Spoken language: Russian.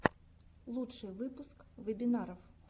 лучший выпуск вебинаров